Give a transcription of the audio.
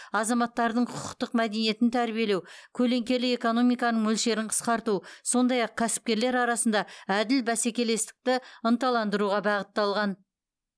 азаматтардың құқықтық мәдениетін тәрбиелеу көлеңкелі экономиканың мөлшерін қысқарту сондай ақ кәсіпкерлер арасында әділ бәсекелестікті ынталандыруға бағытталған